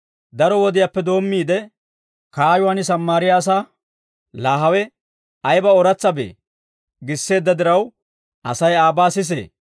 Daro wodiyaappe doommiide, kaayuwaan Sammaariyaa asaa «Laa hawe ayba ooratsabee» giisseedda diraw, Asay aabaa sisee.